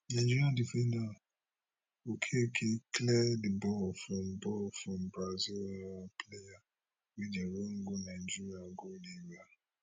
nigeria defender okeke clear di ball from ball from brazil um player wey dey run go nigeria goal area